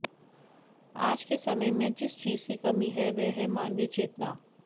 आज के समय में जिस चीज की कमी है वह है मानवीय चेतना